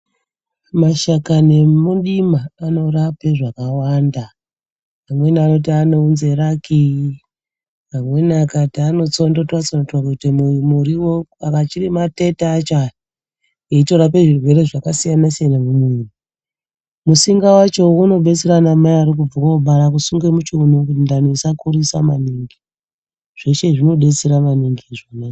Mashakani emudima anorape zvakawanda. Amweni anoti anounze raki amweni akati anotsondotwa-tsondotwa kuite muriwo achiri matete acho aya eitorape zvirwere zvakasiyana siyana mumwiri. Musinga wacho unobetsera ana mai arikubve kubara kusunge muchiunu kuti ndani isakurisa maningi. Zveshe izvi zvinodetsera maningi.